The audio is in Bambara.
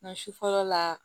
Nka su fɔlɔ la